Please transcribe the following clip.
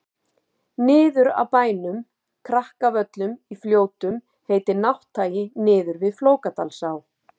niður af bænum krakavöllum í fljótum heitir nátthagi niður við flókadalsá